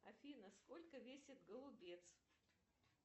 афина сколько весит голубец